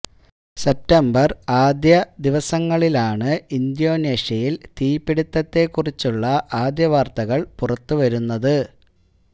September ആദ്യ ദിവസങ്ങളിലാണ് ഇന്ത്യോനേഷ്യയില് തീ പിടിത്തത്തെ കുറിച്ചുള്ള ആദ്യ വാര്ത്തകര് പുറത്ത് വരുന്നത്